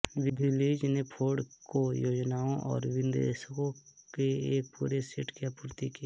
villis ने Ford को योजनाओं और विनिर्देशों के एक पूरे सेट की आपूर्ति की